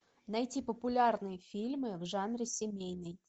найти популярные фильмы в жанре семейный